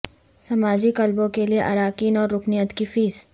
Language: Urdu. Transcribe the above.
سماجی کلبوں کے لئے اراکین اور رکنیت کی فیس